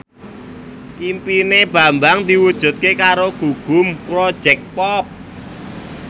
impine Bambang diwujudke karo Gugum Project Pop